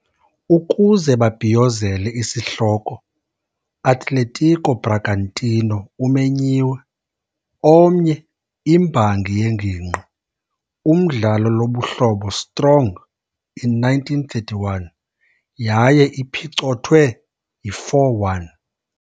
Ukuze babhiyozele isihloko, Atletico Bragantino umenyiwe, omnye imbangi yengingqi umdlalo lobuhlobo strong in 1931 yaye iphicothwe yi4-1.